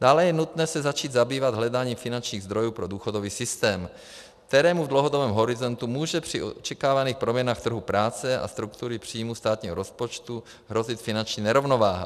Dále je nutné se začít zabývat hledáním finančních zdrojů pro důchodový systém, kterému v dlouhodobém horizontu může při očekávaných proměnách trhu práce a struktury příjmů státního rozpočtu hrozit finanční nerovnováha.